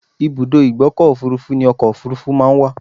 Ìbùdó ìgbọ́kọ̀ òfurufú ni ọkọ òfurufú máa ńwà.